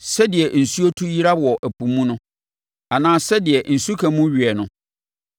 Sɛdeɛ nsuo tu yera wɔ ɛpo mu no, anaa sɛdeɛ nsuka mu weɛ no,